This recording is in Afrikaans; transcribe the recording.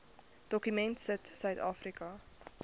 dokument sit suidafrika